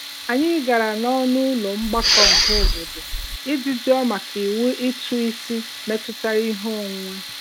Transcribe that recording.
Anyị gara n'ọnụụlọ mgbakọ ọhaobodo iji jụọ maka iwu ụtụisi metụtara ihe onwunwe.